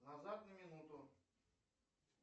назад на минуту